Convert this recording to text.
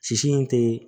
Sisi in tɛ